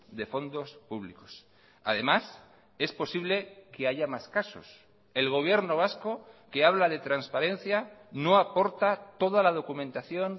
de fondos públicos además es posible que haya más casos el gobierno vasco que habla de transparencia no aporta toda la documentación